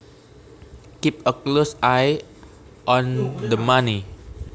Keep a close eye on the money